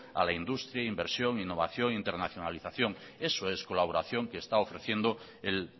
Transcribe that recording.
a la industria inversión innovación internacionalización eso es colaboración que está ofreciendo el